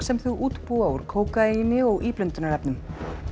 sem þau útbúa úr kókaíni og íblöndunarefnum